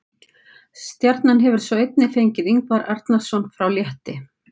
Stjarnan hefur svo einnig fengið Ingvar Arnarson frá Létti.